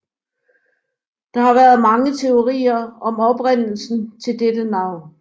Der har været mange teorier om oprindelsen til dette navn